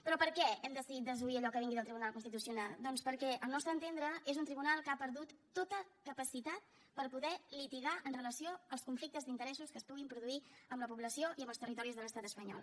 però per què hem decidit desoir allò que vingui del tribunal constitucional doncs perquè al nostre entendre és un tribunal que ha perdut tota capacitat per poder litigar amb relació als conflictes d’interessos que es puguin produir en la població i en els territoris de l’estat espanyol